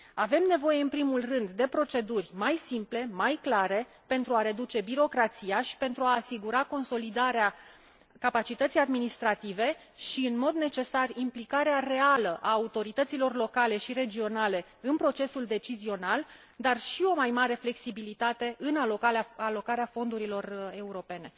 Avem nevoie, în primul rând, de proceduri mai simple, mai clare, pentru a reduce birocrația și pentru a asigura consolidarea capacității administrative și, în mod necesar, implicarea reală a autorităților locale și regionale în procesul decizional, dar și o mai mare flexibilitate în alocarea fondurilor europene.